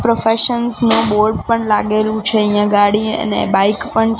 professions નો board પણ લાગેલું છે અહીંયા ગાડી અને બાઈક પણ--